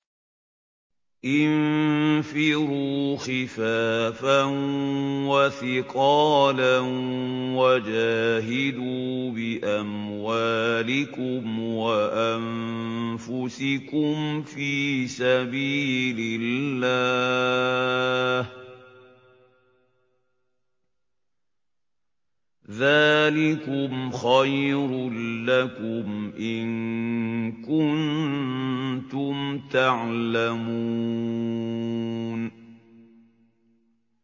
انفِرُوا خِفَافًا وَثِقَالًا وَجَاهِدُوا بِأَمْوَالِكُمْ وَأَنفُسِكُمْ فِي سَبِيلِ اللَّهِ ۚ ذَٰلِكُمْ خَيْرٌ لَّكُمْ إِن كُنتُمْ تَعْلَمُونَ